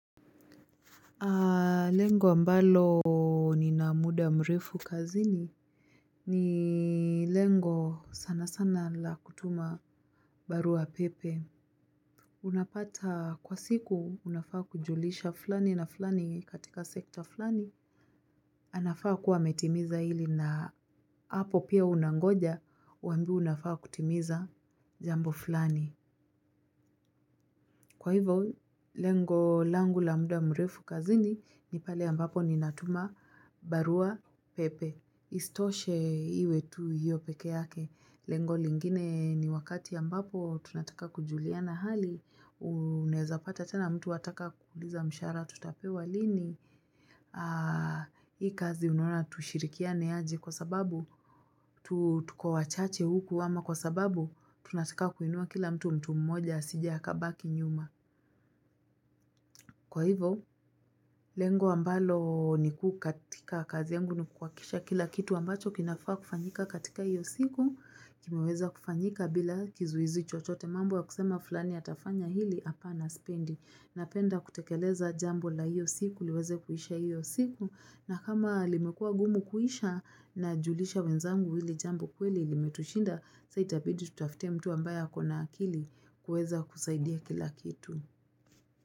Lengo ambalo nina muda mrefu kazini ni lengo sana sana la kutuma barua pepe. Unapata kwa siku unafaa kujulisha fulani na fulani katika sekta fulani. Anafaa kuwa ametimiza hili na hapo pia unangoja uambiwe unafaa kutimiza jambo fulani. Kwa hivyo, lengo langu la muda mrefu kazini ni pale ambapo ninatuma barua pepe. Isitoshe iwe tu hiyo peke yake. Lengo lingine ni wakati ambapo tunataka kujuliana hali. Unaeza pata tena mtu wataka kuuliza mshahara tutapewa lini. Hii kazi unaona tushirikiane ajy kwa sababu. Tu tuko wachache huku ama kwa sababu. Tunataka kuinua kila mtu mtu mmoja asije akabaki nyuma. Kwa hivo, lengo ambalo ni kuu katika kazi yangu ni kuhakikisha kila kitu ambacho kinafaa kufanyika katika iyo siku, kimeweza kufanyika bila kizuizi chochote mambo ya kusema fulani atafanya hili apana sipendi. Napenda kutekeleza jambo la iyo siku, liweze kuisha iyo siku, na kama limekua ngumu kuisha najulisha wenzangu hili jambo kweli limetushinda, sa itabidi tutafute mtu ambaye ako na akili kuweza kusaidia kila kitu.